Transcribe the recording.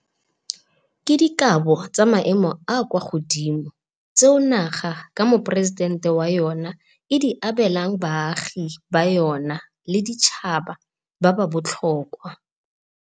Ke dikabo tsa maemo a a kwa godimo tseo naga, ka Moporesidente wa yona, e di abelang baagi ba yona le baditšhaba ba ba botlhokwa.